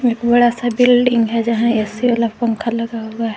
बड़ा सा बिल्डिंग है जहां ए_सी वाला पंखा लगा हुआ है।